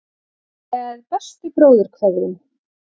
Með bestu bróðurkveðjum.